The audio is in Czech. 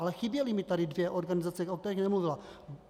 Ale chyběly mi tady dvě organizace, o kterých nemluvila.